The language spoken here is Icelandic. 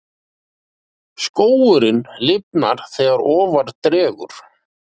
Skógurinn lifnar þegar ofar dregur.